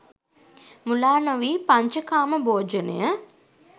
මුලා නොවී පඤ්චකාම භෝජනය